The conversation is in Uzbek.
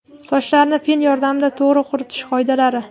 Sochlarni fen yordamida to‘g‘ri quritish qoidalari.